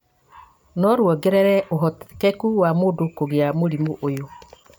no ruongerere ũhotekeku wa mũndũ kũgĩa mũrimũ ũyũ